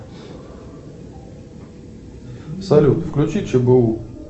салют включи чбу